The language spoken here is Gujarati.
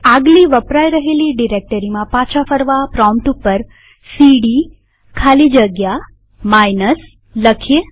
આગલી વપરાય રહેલી ડિરેક્ટરીમાં પાછા ફરવા પ્રોમ્પ્ટ ઉપર સીડી ખાલી જગ્યા માઇનસ લખીએ